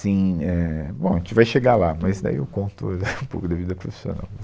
Assim, é, bom, a gente vai chegar lá, mas daí eu conto um pouco da vida profissional.